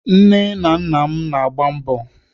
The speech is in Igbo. Nne na nna m na-agba mbọ.